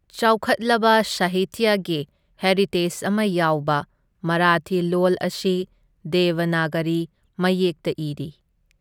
ꯆꯥꯎꯈꯠꯂꯕ ꯁꯥꯍꯤꯇ꯭ꯌꯒꯤ ꯍꯦꯔꯤꯇꯦꯖ ꯑꯃ ꯌꯥꯎꯕ, ꯃꯔꯥꯊꯤ ꯂꯣꯜ ꯑꯁꯤ ꯗꯦꯕꯅꯥꯒꯔꯤ ꯃꯌꯦꯛꯇ ꯏꯔꯤ꯫